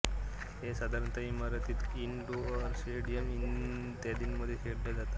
हे साधारणतः ईमारतीत इनडोअर स्टेडियम इत्यादीमध्ये खेळल्या जातात